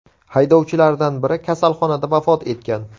Haydovchilardan biri kasalxonada vafot etgan.